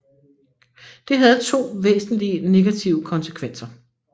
Det havde to væsentlige negative konsekvenser